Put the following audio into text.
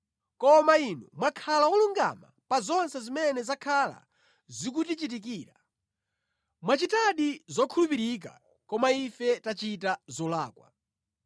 Koma Inu mwakhala wolungama pa zonse zimene zakhala zikutichitikira. Mwachita zokhulupirika, koma ife tachita zolakwa.